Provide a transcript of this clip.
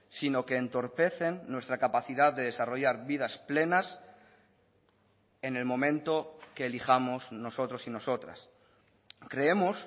sino que entorpecen nuestra capacidad de desarrollar vidas plenas en el momento que elijamos nosotros y nosotras creemos